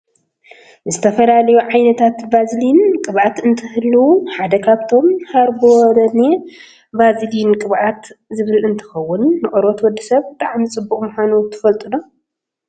ዝተፈላለዩ ዓይነታት ቫዝሊን ቅብኣት እንትህልዉ ሓደ ካብኣቶም ሃርቦለነ ቫዝሊን ቅብኣት ዝብል እንትከውን ንቆርበት ወዲ ሰብ ብጣዕሚ ፅቡቅ ምኳኑ ትፈልጡ ዶ ?